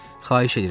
Xahiş eləyirəm.